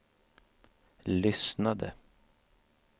lyssnade